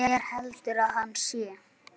Hver heldur að hann sé?